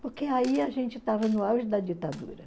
Porque aí a gente estava no auge da ditadura.